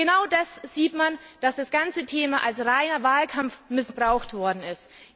Genau daran sieht man, dass das ganze Thema als reiner Wahlkampf missbraucht worden ist.